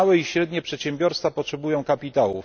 Małe i średnie przedsiębiorstwa potrzebują kapitału.